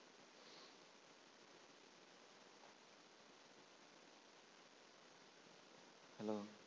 hallo